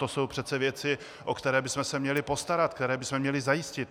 To jsou přece věci, o které bychom se měli postarat, které bychom měli zajistit.